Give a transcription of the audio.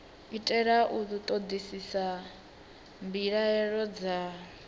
itela u ṱoḓisisa mbilaelo dza